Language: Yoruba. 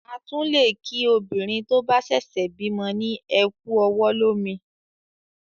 À tún lé kí obìnrin tó sèsè bímo ni "Ẹ ku ọwọ̀ lómi"